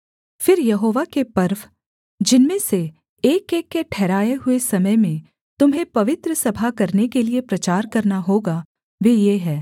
फिर यहोवा के पर्व जिनमें से एकएक के ठहराये हुए समय में तुम्हें पवित्र सभा करने के लिये प्रचार करना होगा वे ये हैं